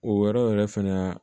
O yɔrɔ yɛrɛ fɛnɛ